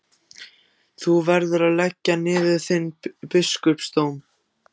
Þú verður að leggja niður þinn biskupsdóm!